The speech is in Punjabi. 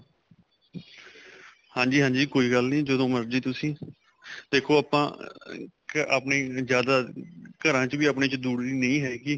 ਹਾਂਜੀ ਹਾਂਜੀ ਕੋਈ ਗੱਲ ਨਹੀਂ ਜਦੋਂ ਮਰਜੀ ਤੁਸੀਂ ਦੇਖੋ ਆਪਾਂ ਆਪਣੇ ਜਿਆਦਾ ਘਰਾਂ ਚ ਵੀ ਆਪਣੇ ਚ ਦੂਰੀ ਨਹੀਂ ਹੈਗੀ